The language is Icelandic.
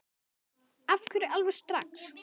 Af hverju alveg strax?